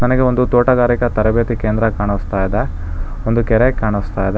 ನನಗೆ ಒಂದು ತೋಟಗಾರಿಕ ತರಬೇತಿ ಕೇಂದ್ರ ಕಾಣಸ್ತಾ ಇದೆ ಒಂದು ಕೆರೆ ಕಾಣಸ್ತಾ ಇದೆ --